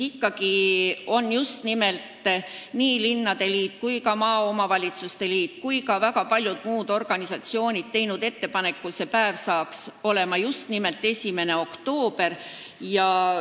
Ent just nimelt nii linnade liit kui ka maaomavalitsuste liit, samuti väga paljud muud organisatsioonid on teinud ettepaneku, et see päev saaks olema just nimelt 1. oktoober.